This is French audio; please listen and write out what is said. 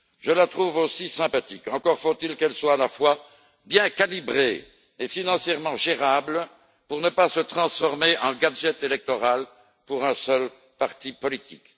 Je la trouve aussi sympathique, encore faut il qu'elle soit à la fois bien calibrée et financièrement gérable pour ne pas se transformer en gadget électoral servant les intérêts d'un seul parti politique.